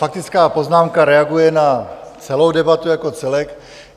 Faktická poznámka reaguje na celou debatu jako celek.